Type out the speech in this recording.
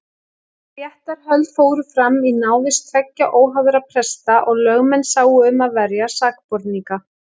Réttarhöld fóru fram í návist tveggja óháðra presta og lögmenn sáu um að verja sakborninga.